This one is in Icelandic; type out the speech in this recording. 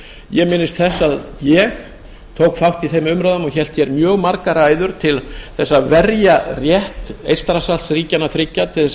ég minnist þess að ég tók þátt í þeim umræðum og hélt hér mjög margar ræður til að verja rétt eystrasaltsríkjanna þriggja til